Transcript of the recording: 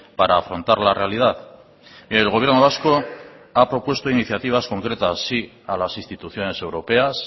para afrontar la realidad el gobierno vasco ha propuesto iniciativas concretas sí a las instituciones europeas